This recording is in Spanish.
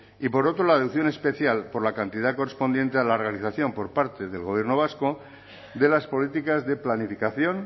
y por otro la deducción especial por la cantidad correspondiente a la realización por parte del gobierno vasco de las políticas de planificación